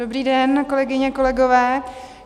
Dobrý den, kolegyně, kolegové.